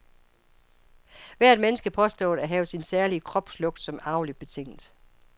Hvert menneske påstås at have sin særlige kropslugt, som er arveligt betinget.